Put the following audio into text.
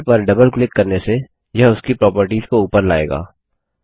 label पर double click करने से यह उसकी प्रॉपर्टीज को ऊपर लाएगा